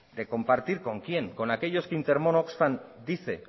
de compartir con quién con aquellos que intermon oxfam dice